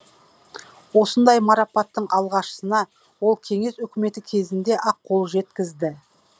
осындай марапаттың алғашқысына ол кеңес өкіметі кезінде ақ қол жеткізді